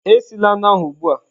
Esila anụ ahụ ugbu a!.